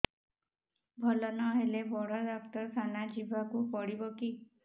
ଭଲ ନହେଲେ ବଡ ଡାକ୍ତର ଖାନା ଯିବା କୁ ପଡିବକି